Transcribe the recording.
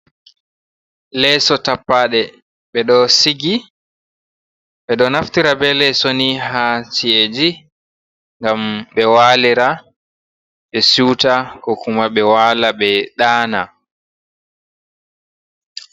Leeso tappaaɗe ɓe ɗo sigi ,ɓe ɗo naftira be leeso ni haa ci’eeji ,ngam ɓe walira ,ɓe siwta ko kuma ɓe waala ɓe ɗaana.